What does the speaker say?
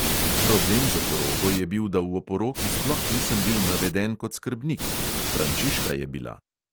Problem z oporoko je bil, da v oporoki sploh nisem bil naveden kot skrbnik; frančiška je bila.